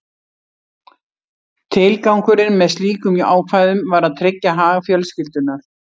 Tilgangurinn með slíkum ákvæðum var að tryggja hag fjölskyldunnar.